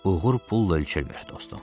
Uğur pulla ölçülmür, dostum.